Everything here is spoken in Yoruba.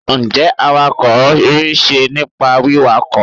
n jé awakọ ri se nipa wiwakọ